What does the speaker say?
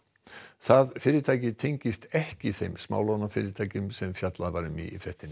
það fyrirtæki tengist ekki þeim smálánafyrirtækjum sem fjallað var um í fréttinni